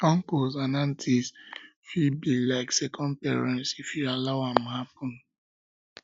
uncles and aunties fit be be like second parents if you allow am happen